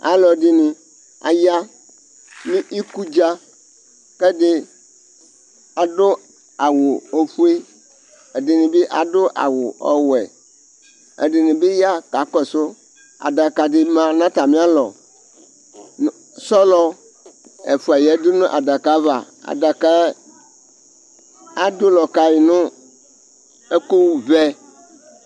Alʋ ɛdɩnɩ aya nʋ ikudza, kɛdɩ adʋ awʋ ofue, ɛdɩnɩ bɩ adʋ awʋ ɔwɛ, ɛdɩnɩ bɩ ya ka kɔsʋ adaka dɩ ma nʋ atamɩalɔSɔlɔ ɛfʋa yǝdu nʋ adaka ava, adakaɛ ,adʋ ɔlɔ ka yɩ nʋ ɛkʋ vɛ